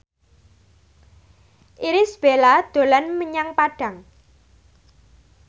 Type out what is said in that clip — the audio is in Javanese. Irish Bella dolan menyang Padang